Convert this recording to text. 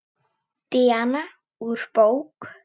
Díana úr bók.